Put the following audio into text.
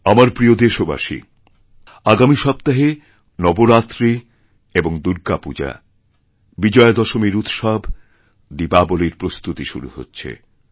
আমার প্রিয়দেশবাসী আগামী সপ্তাহে নবরাত্রি এবং দুর্গাপূজা বিজয়াদশমীর উৎসব দীপাবলীরপ্রস্তুতি শুরু হচ্ছে